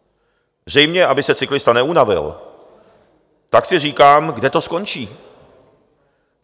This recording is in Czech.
- zřejmě aby se cyklista neunavil - tak si říkám, kde to skončí?